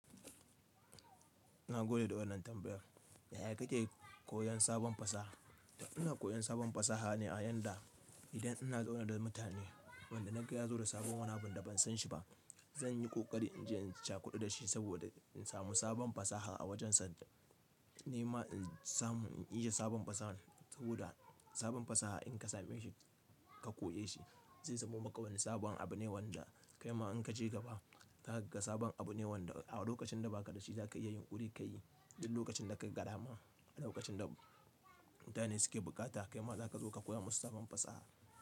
Na gode da wannan tambayar. Yaya kake koyon sabon fasaha? To ina koyon sabon fasaha ne a yanda idan ina zaune da mutane wanda na ga ya zo da sabon wani abu da ban san shi ba, zan yi ƙoƙari in je in cakuɗu da shi saboda in samu sabon fasaha a wajensa. Nema in samu, in iya sabon fasaha. Saboda sabon fasaha in ka same shi ka koye shi zai zamo maka wani sabon abu ne wanda kaima in ka je gaba zaka ga sabon abu ne wanda a lokacin da ba ka da shi za ka iya yinƙuri ka yi. Duk lokacin da ka ga dama, a lokacin da mutane suke bukata kaima za ka zo ka koya musu sabon fasaha.